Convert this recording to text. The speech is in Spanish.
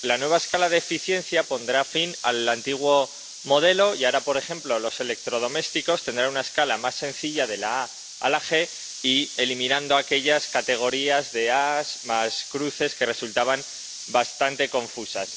La nueva escala de eficiencia pondrá fin al antiguo modelo y ahora, por ejemplo, los electrodomésticos tendrán una escala más sencilla, de la A a la G, eliminando aquellas categorías de aes más cruces, que resultaban bastante confusas.